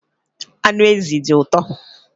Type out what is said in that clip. Anụ ezi dị ụtọ